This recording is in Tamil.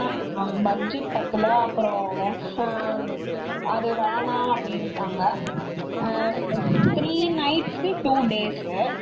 ஆனா budget பத்தல அது வேணாம் அப்படினுட்டாங்க three nights கு two days